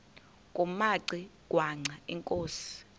kumaci ngwana inkosi